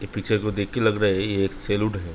इस पिक्‍चर को देख के लग रहा है ये एक सैलून है ।